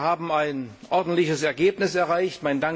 Ich denke, wir haben ein ordentliches Ergebnis erreicht.